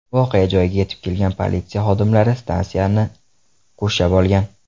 Voqea joyiga yetib kelgan politsiya xodimlari stansiyani qurshab olgan.